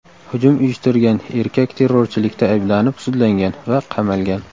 Hujum uyushtirgan erkak terrorchilikda ayblanib sudlangan va qamalgan.